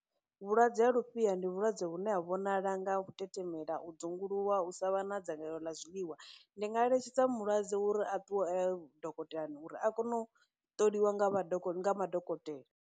Vhulwadze ha lufhia ndi vhulwadze vhune ha vhonala nga u tetemela, u dzunguluwa, u sa vha na dzangalelo ḽa zwiḽiwa, ndi nga eletshedza mulwadze uri a ṱuwe a ye dokotelani uri a kone u ṱoliwa nga vha, nga madokotela.